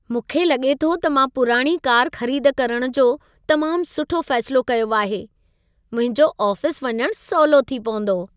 मूंखे लॻे थो त मां पुराणी कार खरीद करण जो तमाम सुठो फैसिलो कयो आहे। मुंहिंजो आफिस वञण सवलो थी पवंदो।